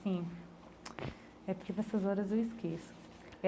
Sim, é porque dessas horas eu esqueço.